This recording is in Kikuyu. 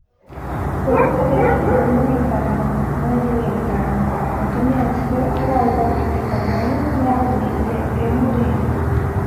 Kũrĩ tarĩki ikũmi na ithano mweri wetano mũtumia ũcio arauga atĩ Kamau nĩaumĩrire e mũrĩu.